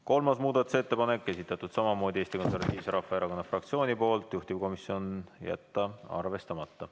Kolmas muudatusettepanek, esitatud samamoodi Eesti Konservatiivse Rahvaerakonna fraktsiooni poolt, juhtivkomisjon: jätta arvestamata.